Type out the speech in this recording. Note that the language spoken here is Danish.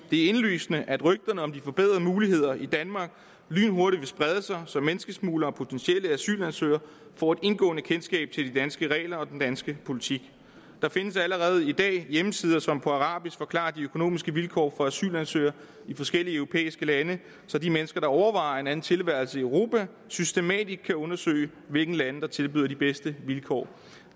er indlysende at rygterne om de forbedrede muligheder i danmark lynhurtigt vil sprede sig så menneskesmuglere og potentielle asylansøgere får et indgående kendskab til de danske regler og den danske politik der findes allerede i dag hjemmesider som på arabisk forklarer de økonomiske vilkår for asylansøgere i forskellige europæiske lande så de mennesker der overvejer en anden tilværelse i europa systematisk kan undersøge hvilke lande der tilbyder de bedste vilkår